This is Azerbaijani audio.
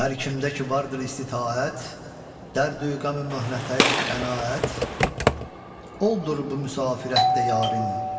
Hər kimdə ki vardır istitaət, dərdü-qəmi möhnətə qənaət, oldur bu müsafirətdə yarim.